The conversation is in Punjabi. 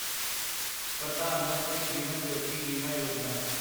ਪ੍ਰਧਾਨ ਮੰਤਰੀ ਜੀਵਨ ਜੋਤੀ ਬੀਮਾ ਯੋਜਨਾ